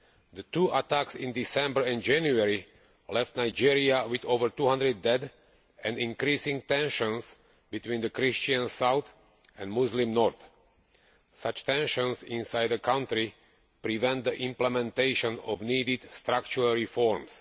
The two attacks in December and January left Nigeria with over 200 dead and increasing tensions between the Christian south and Muslim north. Such tensions inside a country prevent the implementation of much needed structural reforms.